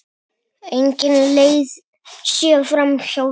Engin leið sé framhjá því.